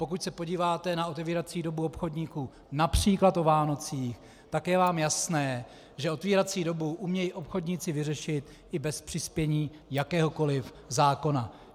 Pokud se podíváte na otevírací dobu obchodníků například o Vánocích, tak je vám jasné, že otevírací dobu umějí obchodníci vyřešit i bez přispění jakéhokoli zákona.